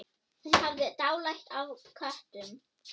Hún hafði dálæti á köttum.